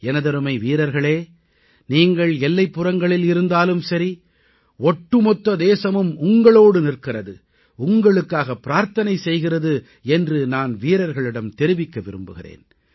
எனதருமை வீரர்களே நீங்கள் எல்லைப்புறங்களில் இருந்தாலும் சரி ஒட்டுமொத்த தேசமும் உங்களோடு நிற்கிறது உங்களுக்காகப் பிரார்த்தனை செய்கிறது என்று நான் வீரர்களிடம் தெரிவிக்க விரும்புகிறேன்